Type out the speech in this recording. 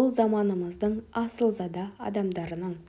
ол заманымыздың асылзада адамдарының